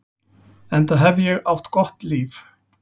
Enda hef ég átt gott líf.